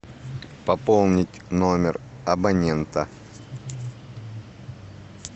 пополнить номер абонента